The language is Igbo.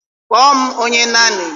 Kpọọ m onye nannii